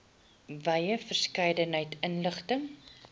wye verskeidenheid inligting